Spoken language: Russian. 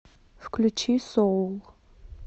включи соул